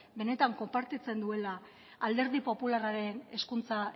benetan konpartitzen duela alderdi popularraren hezkuntza